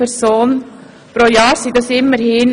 Das war bisher nicht möglich.